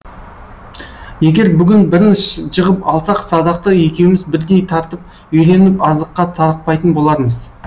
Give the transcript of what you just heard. егер бүгін бірін жығып алсақ садақты екеуіміз бірдей тартып үйреніп азыққа тарықпайтын болармыз